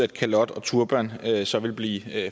at kalot og turban så vil blive